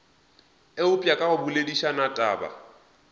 eupša ka go boledišana taba